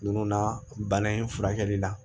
Nunnu na bana in furakɛli la